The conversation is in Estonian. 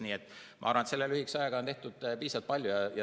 Nii et ma arvan, et selle lühikese ajaga on tehtud piisavalt palju.